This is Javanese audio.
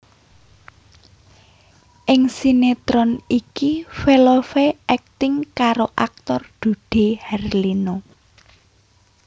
Ing sinetron iki Velove akting karo aktor Dude Harlino